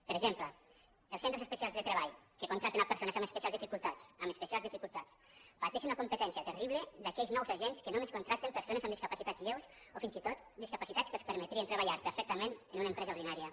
per exemple els centres especials de treball que contracten persones amb especials dificultats amb especials di·ficultats pateixen una competència terrible d’aquells nous agents que només contracten persones amb disca·pacitats lleus o fins i tot discapacitats que els perme·trien treballar perfectament en una empresa ordinària